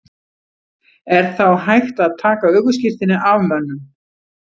Er þá hægt að taka ökuskírteini af mönnum?